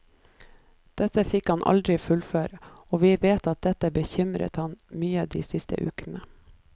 Det fikk han aldri fullføre, og vi vet at dette bekymret ham mye de siste ukene.